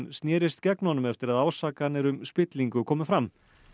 snérist gegn honum eftir að ásakanir um spillingu komu fram